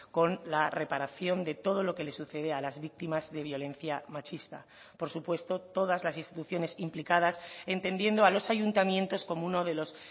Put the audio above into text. con la reparación de todo lo que le sucede a las víctimas de violencia machista por supuesto todas las instituciones implicadas entendiendo a los ayuntamientos como uno de los